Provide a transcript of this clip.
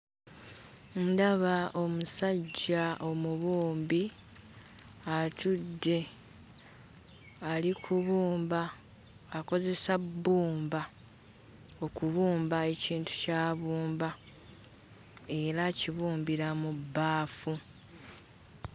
Ndaba omusajja omubumbi atudde, ali kubumba, akozesa bbumba okubumba ekintu ky'abumba era akibumbira mu bbaafu.